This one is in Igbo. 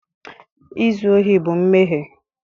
Izu ohi bụ mmehie